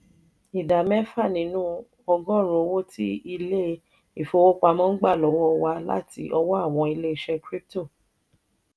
ìdá mẹfa nínú ọgọ́ọ̀rún owo ti ilé ìfowópamọ́ n gbà wọlé wà láti ọwọ́ àwọn ilé iṣẹ crypto